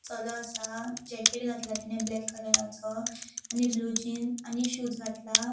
चलो असा जैकेट घातला तेने ब्लैक कलराचो आणि ब्लू जीन्स आणि शूज घातला.